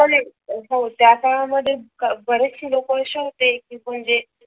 हो त्या काळा मध्ये बरेचशे अशे लोक असे होते कि म्हणजे